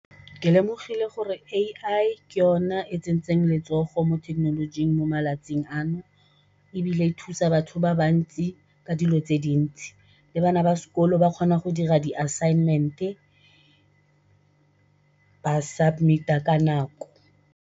Ke lemogile gore A_I ke yona e tsentseng letsogo mo thekenolojing mo malatsing ano, ebile e thusa batho ba bantsi ka dilo tse dintsi le bana ba sekolo ba kgona go dira di assignment-e ba submit-a ka nako.